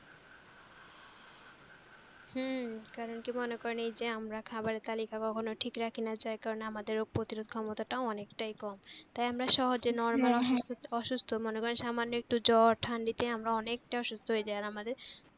হুম কারন কি মনে করেন এই যে আমরা খাবারের তালিকা কখনও ঠিক রাখি না যার কারে আমাদের রোগ প্রতিরোধ ক্ষমতা তাও অনেকটাই কম। তাই আমরা সহজে normal অসুস্থ অসুস্থ মনে করেন সামান্য একটু জর ঠান্ডিতে আমরা অনেকটা অসুস্থ হয়ে যাই আর আমাদের